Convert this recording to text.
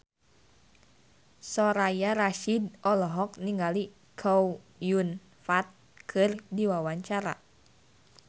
Soraya Rasyid olohok ningali Chow Yun Fat keur diwawancara